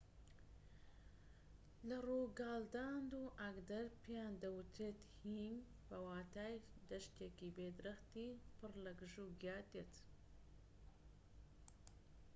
لە ڕۆگالاند و ئاگدەر پێیان دەوترێت هێی بە واتای دەشتێکی بێ درەختی پڕ لە گژوگیا دێت